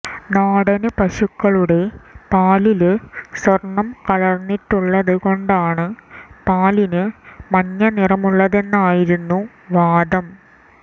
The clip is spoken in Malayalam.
നാടന് പശുക്കളുടെ പാലില് സ്വര്ണം കലര്ന്നിട്ടുള്ളത് കൊണ്ടാണ് പാലിന് മഞ്ഞ നിറമുള്ളതെന്നായിരുന്നു വാദം